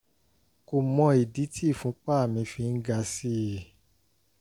kò mọ ìdí tí ìfúnpá mi fi ń ga sí i